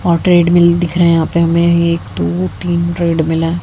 और ट्रेडमिल दिख रहे हैं यहां पे हमें एक दो तीन ट्रेड मिल हैं।